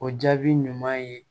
O jaabi ɲuman ye